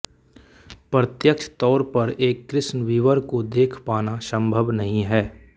प्रत्यक्ष तौर पर एक कृष्ण विवर को देख पाना संभव नहीं है